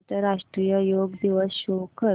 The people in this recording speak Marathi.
आंतरराष्ट्रीय योग दिवस शो कर